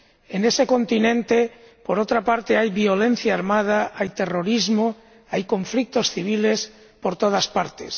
En ese continente, por otra parte, hay violencia armada, hay terrorismo, hay conflictos civiles por todas partes.